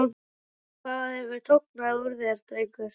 Meira hvað hefur tognað úr þér, drengur!